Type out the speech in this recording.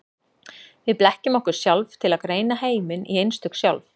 Við blekkjum okkur sjálf til að greina heiminn í einstök sjálf.